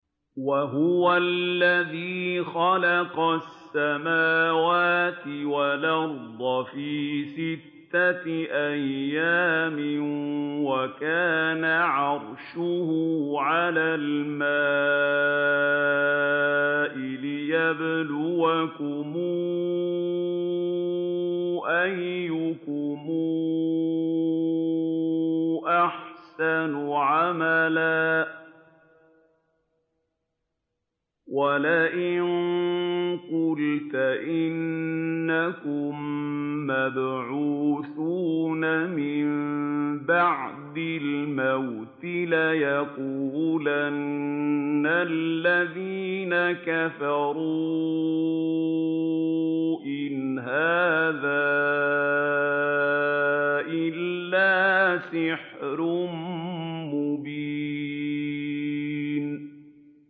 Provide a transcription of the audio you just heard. وَهُوَ الَّذِي خَلَقَ السَّمَاوَاتِ وَالْأَرْضَ فِي سِتَّةِ أَيَّامٍ وَكَانَ عَرْشُهُ عَلَى الْمَاءِ لِيَبْلُوَكُمْ أَيُّكُمْ أَحْسَنُ عَمَلًا ۗ وَلَئِن قُلْتَ إِنَّكُم مَّبْعُوثُونَ مِن بَعْدِ الْمَوْتِ لَيَقُولَنَّ الَّذِينَ كَفَرُوا إِنْ هَٰذَا إِلَّا سِحْرٌ مُّبِينٌ